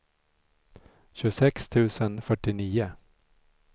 tjugosex tusen fyrtionio